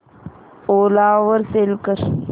ओला वर सेल कर